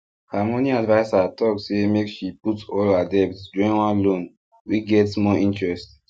her money adviser talk say make she put all her debt join one loan wey get small interest